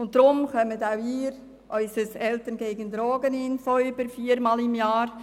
Deshalb erhalten auch Sie viermal pro Jahr das Infobulletin «Eltern gegen Drogen».